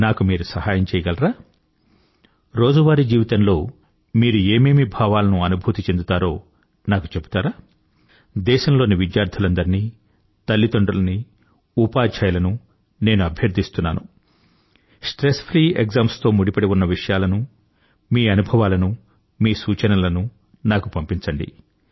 నాకు మీరు సహాయం చేయగలరా రోజువారీ జీవితంలో మీరు ఏమేమి భావాలను అనుభూతి చెందుతారో నాకు చెబుతారా దేశంలోని విద్యార్థులందరినీ తల్లిదండ్రులనీ ఉపాధ్యాయులనూ నేను అభ్యర్థిస్తున్నాను స్ట్రెస్ ఫ్రీ ఎక్సామ్ తో ముడిపడి ఉన్న విషయాలను మీ అనుభవాలనూ మీ సూచనలను నాకు పంపించండి